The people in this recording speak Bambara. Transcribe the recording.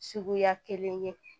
Suguya kelen ye